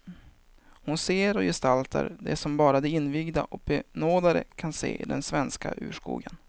Hon ser och gestaltar det som bara de invigda och benådade kan se i den svenska urskogen.